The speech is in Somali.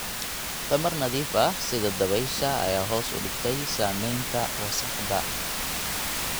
Tamar nadiif ah sida dabaysha ayaa hoos u dhigtay saamaynta wasakhda.